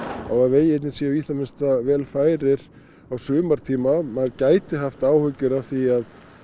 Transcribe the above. á að vegirnir séu í það minnsta vel færir á sumartíma maður gæti haft áhyggjur af því